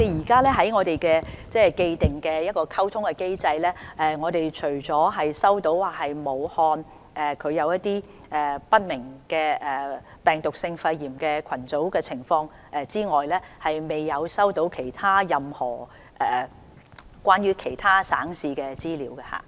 根據既定的通報機制，我們除了收到武漢出現一些不明原因的病毒性肺炎病例群組個案之外，未有收到任何關於其他省市的資料。